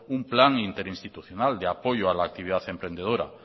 un plan interinstitucional de apoyo a la actividad emprendedora